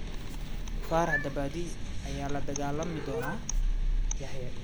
Farax dabadii, yaa la dagaalami doona Yaxye?